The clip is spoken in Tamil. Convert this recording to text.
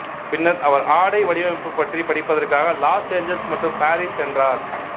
பின்னர் அவர் ஆடை வடிவமைப்பு பற்றி படிப்பதற்காக லாஸ் ஏஞ்சல்ஸ் மற்றும் பாரிஸ் சென்றார்